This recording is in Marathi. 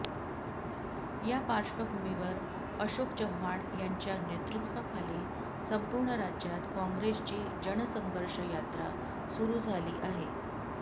या पार्श्वभूमीवर अशोक चव्हाण यांच्या नेतृत्वाखाली संपूर्ण राज्यात काँग्रेसची जनसंघर्ष यात्रा सुरू झाली आहे